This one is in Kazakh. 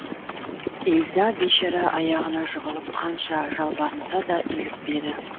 ильза бейшара аяғына жығылып қанша жалбарынса да илікпеді